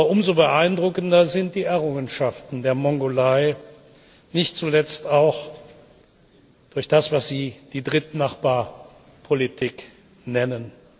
Umso beeindruckender sind die Errungenschaften der Mongolei, nicht zuletzt auch durch das, was Sie die Drittnachbarpolitik nennen.